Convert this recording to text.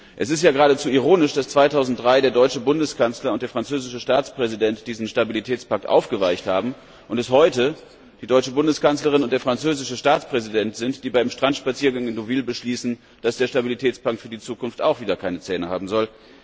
Es ist ja geradezu ironisch, dass 2003 der deutsche Bundeskanzler und der französische Staatspräsident diesen Stabilitätspakt aufgeweicht haben, und es heute die Bundeskanzlerin und der französische Staatspräsident sind, die bei einem Strandspaziergang in Deauville beschließen, dass der Stabilitätspakt für die Zukunft auch wieder keine Zähne haben soll.